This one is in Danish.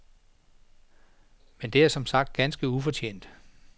Men det er som sagt ganske ufortjent.